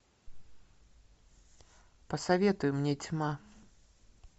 посоветуй мне тьма